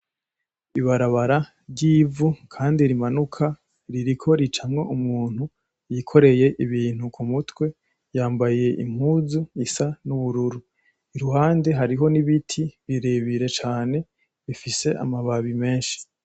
Ibarabara ry'ivu kandi rimanuka ririko icamwo umuntu y'ikoreye ibintu ku mutwe, yambaye impuzu risa n'ubururu iruhande hariho n'ibiti birebire cane bifise amababi menshi.